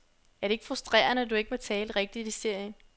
Er det ikke frustrerende, at du ikke må tale rigtigt i serien?